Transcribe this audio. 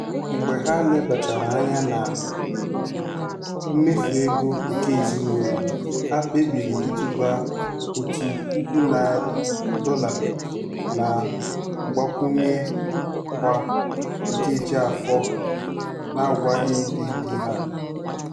Mgbe ha lebachara anya na mmefu ego nke ezinụlọ, ha kpebiri ịtụba otu puku dọla na ngbakwunye kwa nkeji afọ n'agwaghị ndị di ha.